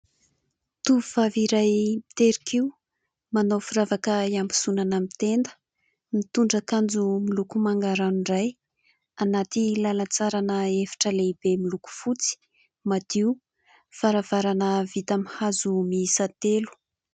Tovovavy iray mitehin-kiho manao firavaka iambozona amin'ny tenda, nitondra akanjo miloko manga ranoray anaty lalan-tsara ana efitra lehibe miloko fotsy madio, varavarana vita amin'ny hazo miisa telo.